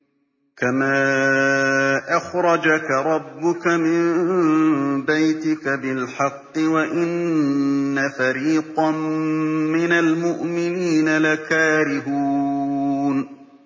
كَمَا أَخْرَجَكَ رَبُّكَ مِن بَيْتِكَ بِالْحَقِّ وَإِنَّ فَرِيقًا مِّنَ الْمُؤْمِنِينَ لَكَارِهُونَ